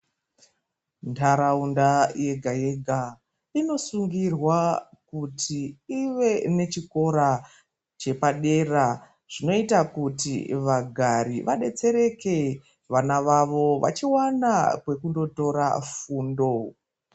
Ndaraunda yega yega inosungirwa kuti ive nechikora chepadera chinoita kuti vagari vadetsereke vana vavo vachiwana kwekundotora fundo.